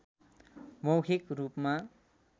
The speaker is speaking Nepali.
मौखिक रूपमा